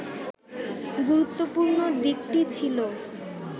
গুরুত্বপূর্ণ দিকটি ছিল